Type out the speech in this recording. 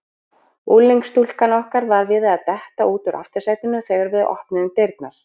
Unglingsstúlkan okkar var við það að detta út úr aftursætinu þegar við opnuðum dyrnar.